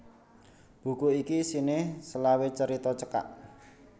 Buku iki isine selawe carita cekak